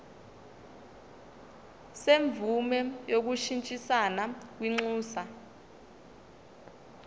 semvume yokushintshisana kwinxusa